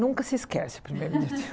Nunca se esquece o primeiro dia de